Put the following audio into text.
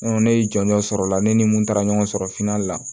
ne ye jɔnjɔ sɔrɔ o la ne ni mun taara ɲɔgɔn sɔrɔ finan la